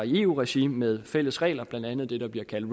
i eu regi med fælles regler blandt andet det der bliver kaldt